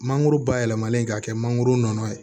Mangoro bayɛlɛmalen k'a kɛ mangoro nɔnɔ ye